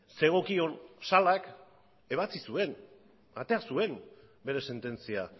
zegokion salak ebatzi zuen atera zuen bere sententzia